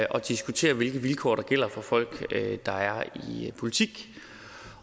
at diskutere hvilke vilkår der gælder for folk der er i politik